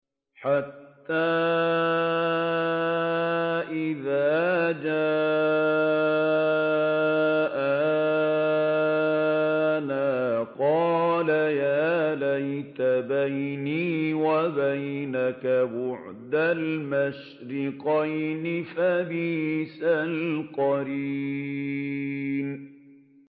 حَتَّىٰ إِذَا جَاءَنَا قَالَ يَا لَيْتَ بَيْنِي وَبَيْنَكَ بُعْدَ الْمَشْرِقَيْنِ فَبِئْسَ الْقَرِينُ